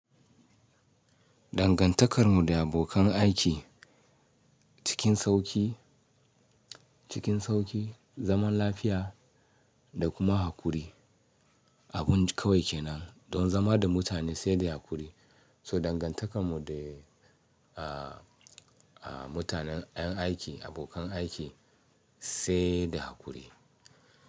Dangantakar mu da abokan aiki cikin sauƙi, cikin sauƙi, zaman lafiya da kuma haƙuri. Abin kawai kenan don zama da mutane sai da haƙuri, so dangantakar mu da a a mutanen 'yan aiki, abokan aiki sai da haƙuri.